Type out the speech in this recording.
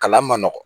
Kalan man nɔgɔn